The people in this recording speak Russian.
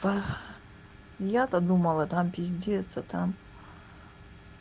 я-то думала там пиздиться а там